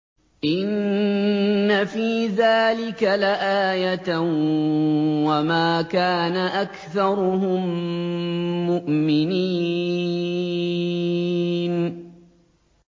إِنَّ فِي ذَٰلِكَ لَآيَةً ۖ وَمَا كَانَ أَكْثَرُهُم مُّؤْمِنِينَ